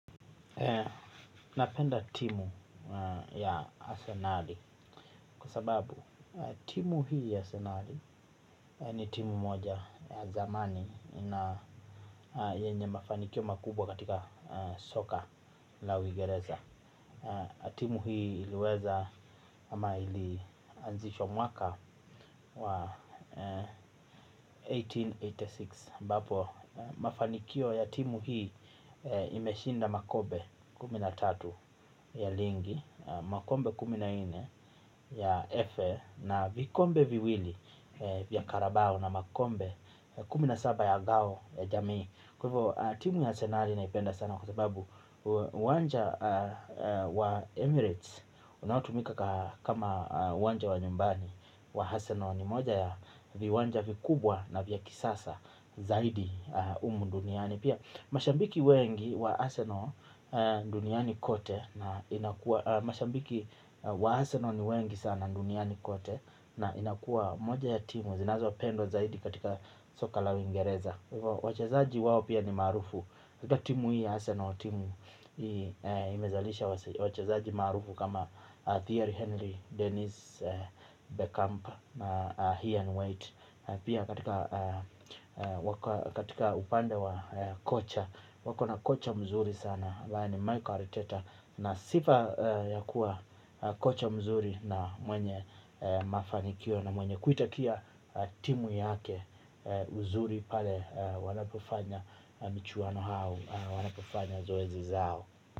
Napenda timu ya asenali kwa sababu timu hii ya asenali ni timu moja ya zamani na yenye mafanikio makubwa katika soka la uingereza. Timu hii iliweza ama ilianzishwa mwaka wa elfu moja na mia nane na themanini na sita ambapo mafanikio ya timu hii imeshinda makombe kumi na tatu ya ligi. Makombe kumi na nne ya FA na vikombe viwili vya karabao na makombe kumi na saba ya ngao ya jamii. Kwa hivo timu ya asenali naipenda sana kwa sababu uwanja wa Emirates unaotumika kama uwanja wa nyumbani wa Arsenal ni moja ya viwanja vikubwa na vya kisasa zaidi humu duniani. Pia mashabiki wengi wa Arsenal duniani kote na inakua moja ya timu zinazo pendwa zaidi katika soka la uingereza. Kwa hivyo wachezaji wao pia ni maarufu katika timu hii ya Arsenal. Imezalisha wachezaji maarufu Kama Thierry Henry, Dennis Beckamp Heer and White. Pia katika upande wa kocha wako na kocha mzuri sana ambaye ni Mikel Arteta na sifa ya kuwa kocha mzuri na mwenye mafanikio na mwenye kuitakia timu yake. Uzuri pale wanapofanya michuano hao. Wanapofanya zoezi zao.